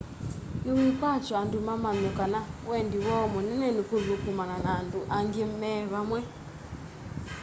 ni wikwatyo andu mamanye kana wendi woo munene ni kuthukumana na andu angi me vamwe